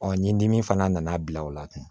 ni dimi fana nana bila o la